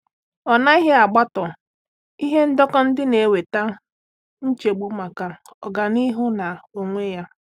Ọ́ ánàghị́ ágbọ́tá ihe ndekọ ndị nà-èwétá nchegbu màkà ọ́gànihu nke onwe ya.